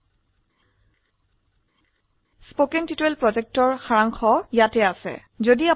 এটি কথ্য টিউটোৰিয়াল প্ৰকল্পকে সাৰসংক্ষেপে বোঝায়